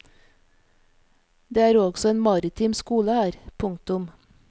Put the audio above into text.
Det er også en maritim skole her. punktum